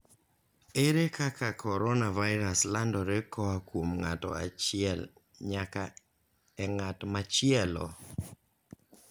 Ere kaka coronavirus landore koa kuom ng'ato achiel nyaka e ng'at machielo?